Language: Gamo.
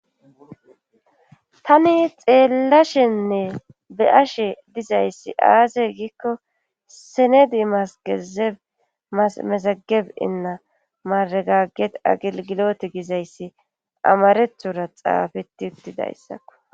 tani xeellashenne be ashe dizayssi aaze giikko senedi masgeze mesageb inna maragaget agilgiloti gizayssi amarethura xaafeti uttidayssako